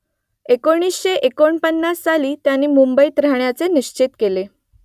एकोणीसशे एकोणपन्नास साली त्यांनी मुंबईत राहण्याचं निश्चित केलं